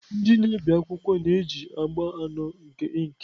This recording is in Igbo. Ndị na-ebi akwụkwọ na-eji agba anọ nke ink.